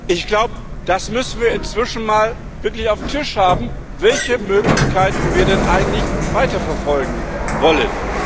Ich glaube, das müssen wir inzwischen mal wirklich auf den Tisch haben, welche Möglichkeiten wir denn eigentlich weiterverfolgen wollen.